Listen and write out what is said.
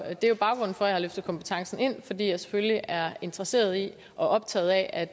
det er baggrunden for at jeg har løftet kompetencen ind nemlig fordi jeg selvfølgelig er interesseret i og optaget af